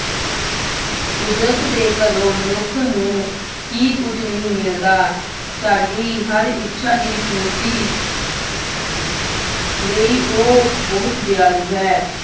ਕੁਦਰਤ ਦੇ ਘਰੋਂ ਮਨੁੱਖ ਨੂੰ ਕੀ ਕੁੱਝ ਨਹੀਂ ਮਿਲਦਾ। ਸਾਡੀ ਹਰ ਇੱਛਾ ਦੀ ਪੂਰਤੀ ਲਈ ਉਹ ਬਹੁਤ ਦਿਆਲੂ ਹੈ।